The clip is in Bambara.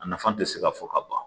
A nafa tɛ se ka fɔ ka ban